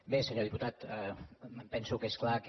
bé senyor diputat em penso que és clar que